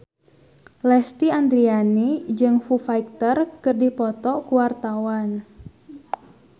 Lesti Andryani jeung Foo Fighter keur dipoto ku wartawan